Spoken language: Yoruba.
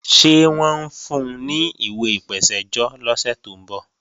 Ṣé wọ́n ń fun ní ìwé ìpèsẹ́jọ́ lọ́sẹ̀ tó ń bọ̀?